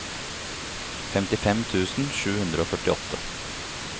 femtifem tusen sju hundre og førtiåtte